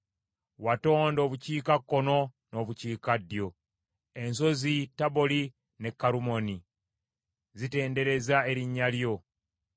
Watonda obukiikakkono n’obukiikaddyo; ensozi Taboli ne Kerumooni zitendereza erinnya lyo.